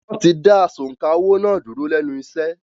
Wọ́n ti da “asọ̀ǹkà owó” náà dúró lẹ́nu iṣẹ́.